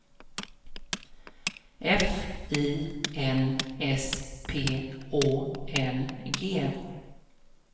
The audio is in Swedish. F I N S P Å N G